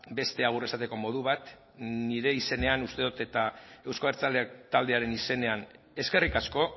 beste agur esateko modu bat nire izenean uste dut eta euzko abertzaleak taldearen izenean eskerrik asko